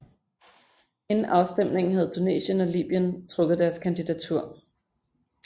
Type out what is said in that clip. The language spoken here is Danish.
Inden afstemningen havde Tunesien og Libyen trukket deres kandidatur